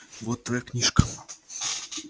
вот твоя книжка